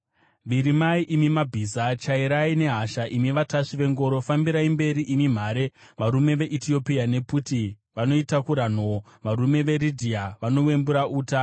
Virimai, imi mabhiza! Chairai nehasha, imi vatasvi vengoro! Fambirai mberi, imi mhare, varume veEtiopia nePuti vanoitakura nhoo, varume veRidhia vanowembura uta.